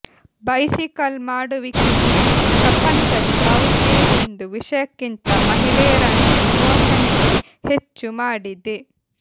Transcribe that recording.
bicycle ಮಾಡುವಿಕೆಯು ಪ್ರಪಂಚದ ಯಾವುದೇ ಒಂದು ವಿಷಯಕ್ಕಿಂತ ಮಹಿಳೆಯರನ್ನು ವಿಮೋಚನೆಗೆ ಹೆಚ್ಚು ಮಾಡಿದೆ